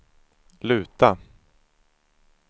luta